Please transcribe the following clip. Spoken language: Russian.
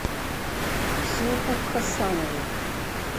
ксюху хасанову